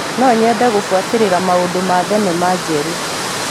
No nyende gũbuatĩrĩra maũndũ ma thenema njerũ.